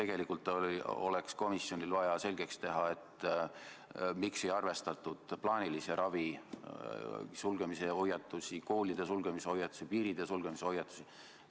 Komisjonil oleks vaja selgeks teha, miks ei arvestatud plaanilise ravi, koolide, piiride sulgemise hoiatusi.